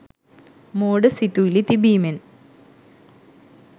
මෝඩ සිතුවිලි තිබීමෙන්